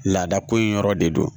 Laada ko in yɔrɔ de do